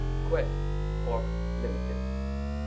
Quess Corp limited